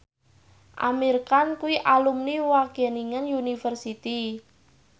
Amir Khan kuwi alumni Wageningen University